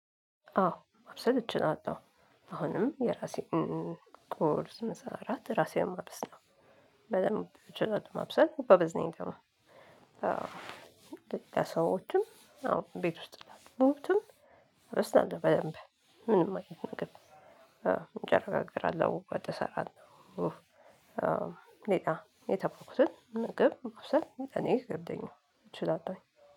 አዎ ማብሰል እችላለው አሁንም የራሴን ቁርስ ምሳ እራት ራሴን ማብሰል በደንብ እችላለው። መብሰል ጎበዝ ነኝ። ደግሞ ለሌላ ሰዎችም አዎ ቤት ውስጥ ላሉትም እሰራለሁ። በደንብ ምንም አይነት ነገር እንጀራ እጋገራለው ወጥ እንሰራለው። ሌላ የተማኩትን ምግብ ውስጥ ለእኔ አይከብደኝም እችላለሁ።